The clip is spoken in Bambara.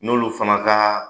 N'olu fana kaa